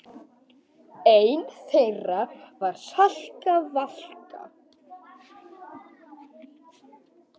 Ein þeirra var Salka Valka.